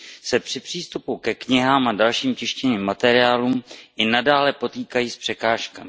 se při přístupu ke knihám a dalším tištěným materiálům i nadále potýkají s překážkami.